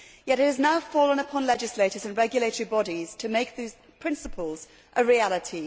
It has now fallen upon legislators and regulatory bodies to make these principles a reality.